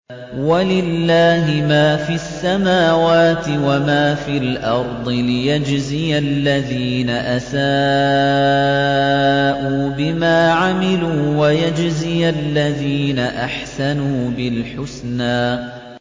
وَلِلَّهِ مَا فِي السَّمَاوَاتِ وَمَا فِي الْأَرْضِ لِيَجْزِيَ الَّذِينَ أَسَاءُوا بِمَا عَمِلُوا وَيَجْزِيَ الَّذِينَ أَحْسَنُوا بِالْحُسْنَى